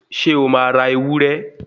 Ṣé o máa ra ewúré